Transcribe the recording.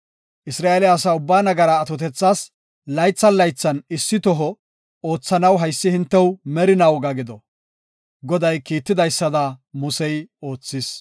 Isra7eele asa ubbaa nagaraa atotethas laythan laythan issi toho oothanaw haysi hintew merina woga gido. Goday kiitidaysada Musey oothis.